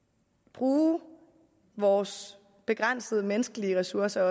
bruge vores begrænsede menneskelige ressourcer